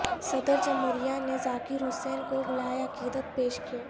صدر جمہوریہ نے ذاکر حسین کو گلہائے عقیدت پیش کئے